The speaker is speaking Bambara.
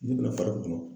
Dugu lafar'u kun